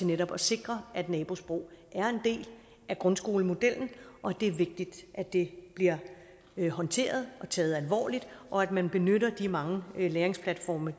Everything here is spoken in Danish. netop at sikre at nabosprog er en del af grundskolemodellen det er vigtigt at det bliver håndteret og taget alvorligt og at man benytter de mange læringsplatforme